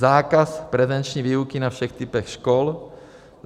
zákaz prezenční výuky na všech typech škol,